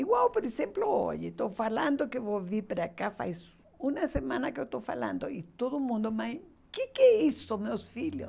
Igual, por exemplo, hoje, estou falando que vou vir para cá, faz uma semana que eu estou falando, e todo mundo, mãe, o que que é isso, meus filhos?